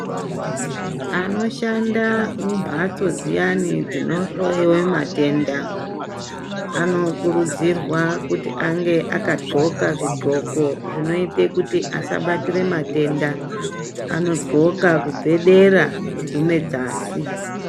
Anoshanda mumbatso dziyani dzinohloyewa matenda anokurudzirwa kuti ange akad'oka zvid'oko zvinoite kuti asabatire matenda anod'oka kubvedera kugume dzasi.